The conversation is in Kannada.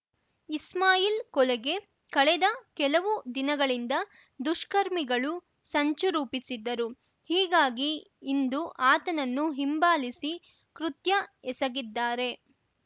ಇಸ್ಮಾಯಿಲ್ ಕೊಲೆಗೆ ಕಳೆದ ಕೆಲವು ದಿನಗಳಿಂದ ದುಷ್ಕರ್ಮಿಗಳು ಸಂಚು ರೂಪಿಸಿದ್ದರು ಹೀಗಾಗಿ ಇಂದು ಆತನನ್ನು ಹಿಂಬಾಲಿಸಿ ಕೃತ್ಯ ಎಸಗಿದ್ದಾರೆ